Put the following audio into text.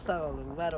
Çox sağ olun, var olun.